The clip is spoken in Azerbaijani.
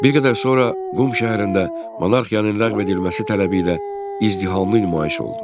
Bir qədər sonra Qum şəhərində monarxiyanın ləğv edilməsi tələbi ilə izdihamlı nümayiş oldu.